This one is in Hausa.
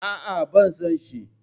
Aa, bana son shi